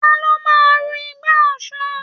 Ta ló máa ru igbá Ọ̀ṣun?